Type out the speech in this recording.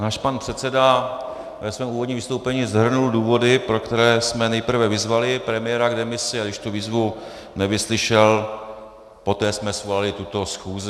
Náš pan předseda ve svém úvodním vystoupení shrnul důvody, pro které jsme nejprve vyzvali premiéra k demisi, a když tu výzvu nevyslyšel, poté jsme svolali tuto schůzi.